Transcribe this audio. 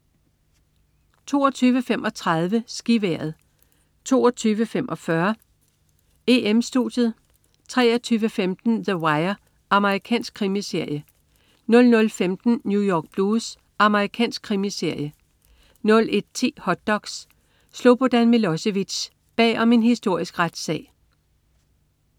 22.35 SkiVejret 22.45 EM-Studiet 23.15 The Wire. Amerikansk krimiserie 00.15 New York Blues. Amerikansk krimiserie 01.10 Hot doks: Slobodan Milosevic. Bag om en historisk retssag